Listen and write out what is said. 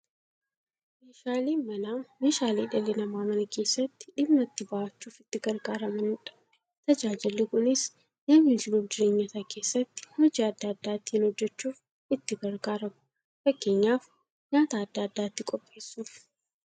Meeshaaleen Manaa meeshaalee dhalli namaa Mana keessatti dhimma itti ba'achuuf itti gargaaramaniidha. Tajaajilli kunis, namni jiruuf jireenya isaa keessatti hojii adda adda ittiin hojjachuuf itti gargaaramu. Fakkeenyaf, nyaata adda addaa ittiin qopheessuuf.